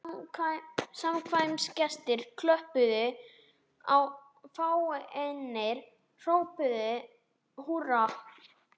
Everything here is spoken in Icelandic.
Samkvæmisgestir klöppuðu og fáeinir hrópuðu húrra.